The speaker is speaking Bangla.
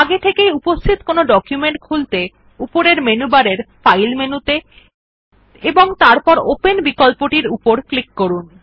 আগে থেকে উপস্থিত কোনো ডকুমেন্ট খুলতে উপরের মেনু বারে ফাইল মেনুতে এবং তারপর ওপেন বিকল্পটির উপর ক্লিক করুন